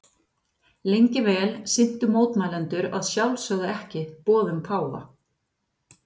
Lengi vel sinntu mótmælendur að sjálfsögðu ekki boðum páfa.